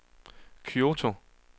Kyoto